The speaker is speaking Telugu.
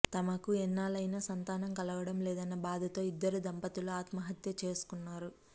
తమకు ఎన్నాళ్ళైనా సంతానం కలగడం లేదన్న భాదతో ఇద్దరు దంపతులు ఆత్మహత్య చేసుకున్నారు